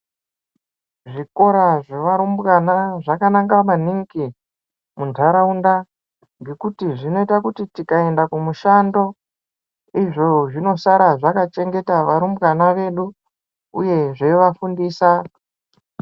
Zvikora zvevarumbwana zvakanaka maningi muntaraunda ngekuti zvinoita kuti tikaenda kumushando izvo zvinosara zvakachengeta varumbwana vedu uye zveivafundisa.